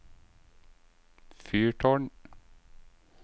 fyrtårn